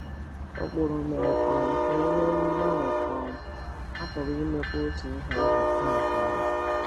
Ụkpụrụ mere um ka e nwee mgbanwe um a pụrụ imekwa otu ihe ahụ taa um.